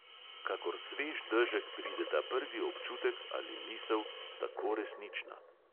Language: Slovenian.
Kakor svež dežek prideta prvi občutek ali misel, tako resnična.